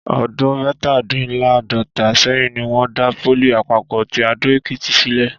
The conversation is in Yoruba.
Ọdún mẹ́tàdínláàádọ́ta sẹ́yìn ni wọ́n dá pólì àpapọ̀ ti Adó-Èkìtì sílẹ̀